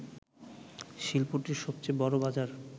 শিল্পটির সবচেয়ে বড় বাজার